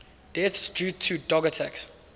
deaths due to dog attacks